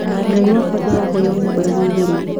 Ngai wakwa ndĩrahoya ũnyambararie igũrũ.